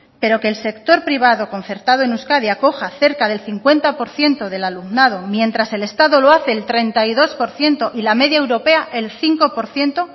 pero que el sector privado concertado en euskadi acoja cerca del cincuenta por ciento del alumnado mientras el estado lo hace el treinta y dos por ciento y la media europea el cinco por ciento